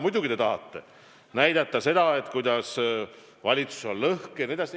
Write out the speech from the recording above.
Muidugi te tahate näidata, et valitsus on lõhki, jne.